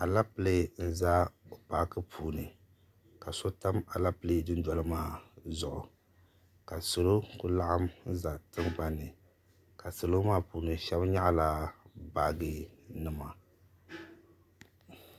Alapele n za paaki puuni ka so tam aleple du noli maa zuɣu ka salo kuli laɣim n za tiŋgbanni ka salo maa puuni shɛba yaɣi la baaji nima.